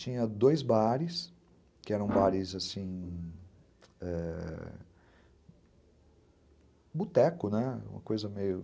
Tinha dois bares, que eram bares, assim, boteco, né, uma coisa meio...